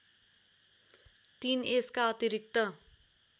३ यसका अतिरिक्त